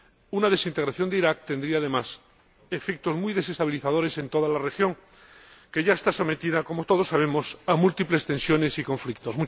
Una desintegración de Irak tendría, además, efectos muy desestabilizadores en toda la región, que ya está sometida ―como todos sabemos― a múltiples tensiones y conflictos.